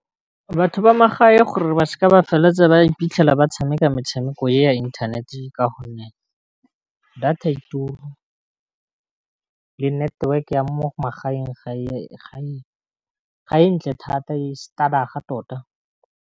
Batho ba mo gae gore ba seka ba feleletsa ba iphitlhela ba tshameka metshameko ya inthanete ka gonne, data ya tuur le network-e ya mo magaeng ga e ntle thata e stadag tota.